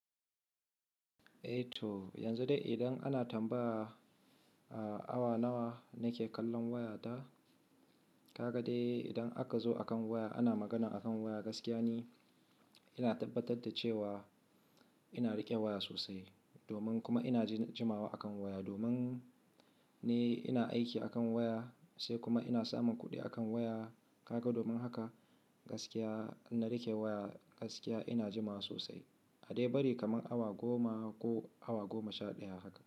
Eh to yanzu dai idan ana tambaya awa nawa nake kallon waya ta, kaga dai idan aka zo akan waya ana magana akan waya gaskiya ne ina tabbatar da cewa ina riƙe waya sosai domin kuma ina jimawa akan waya domin ne ina aiki akan waya sai kuma ina samun kuɗi akan waya. Kaga domin haka gaskiya In na riƙe waya gaskiya ina jimawa sosai. A dai bari kamar awa goma ko awa goma sha ɗaya haka.